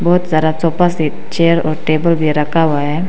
बहोत सारा sofa set chair और टेबल भी रखा हुआ है।